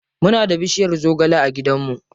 Muna da bushiyar zogale a gidan mu.